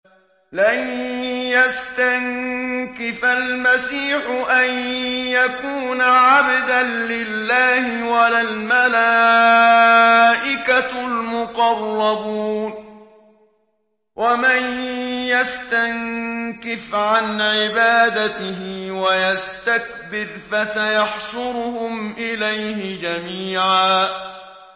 لَّن يَسْتَنكِفَ الْمَسِيحُ أَن يَكُونَ عَبْدًا لِّلَّهِ وَلَا الْمَلَائِكَةُ الْمُقَرَّبُونَ ۚ وَمَن يَسْتَنكِفْ عَنْ عِبَادَتِهِ وَيَسْتَكْبِرْ فَسَيَحْشُرُهُمْ إِلَيْهِ جَمِيعًا